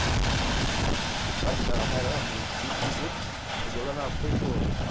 Imagina, ela vai, anda uns cinco minutos, chegou lá, não, fechou.